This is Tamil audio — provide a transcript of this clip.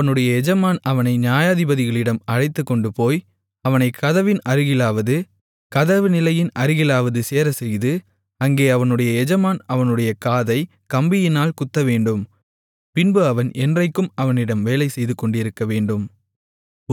அவனுடைய எஜமான் அவனை நியாயாதிபதிகளிடம் அழைத்துக்கொண்டுபோய் அவனைக் கதவின் அருகிலாவது கதவுநிலையின் அருகிலாவது சேரச்செய்து அங்கே அவனுடைய எஜமான் அவனுடைய காதைக் கம்பியினால் குத்தவேண்டும் பின்பு அவன் என்றைக்கும் அவனிடம் வேலைசெய்துகொண்டிருக்கவேண்டும்